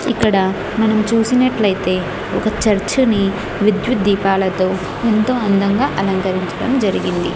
ఇక్కడ మనం చూసినట్లయితే ఒక చర్చని విద్యుత్ దీపాలతో ఎంతో అందంగా అలంకరించడం జరిగింది.